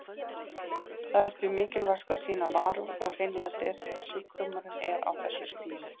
Það er því mikilvægt að sýna varúð og hreinlæti þegar sjúkdómurinn er á þessu stigi.